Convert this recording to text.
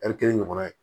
kelen ɲɔgɔnna ye